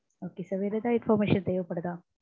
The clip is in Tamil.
okay sir வேற எதா information தேவைப்படுதா?